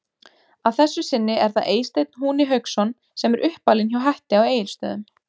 Að þessu sinni er það Eysteinn Húni Hauksson sem er uppalinn hjá Hetti á Egilstöðum.